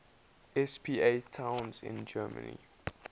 spa towns in germany